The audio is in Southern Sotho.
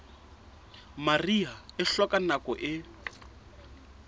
mariha e hloka nako e